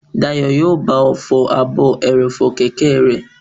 Dayọ̀ yóò bá ọ fọ ààbò ẹrọ̀fọ̀ kẹ̀kẹ́ rẹ